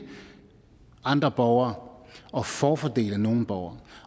andre borgere og forfordele nogle borgere